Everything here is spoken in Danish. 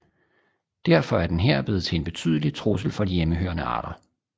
Derfor er den her blevet til en betydelig trussel for de hjemmehørende arter